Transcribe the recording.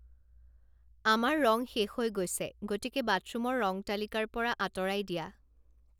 আমাৰ ৰং শেষ হৈ গৈছে গতিকে বাথৰুমৰ ৰং তালিকাৰ পৰা আঁতৰাই দিয়া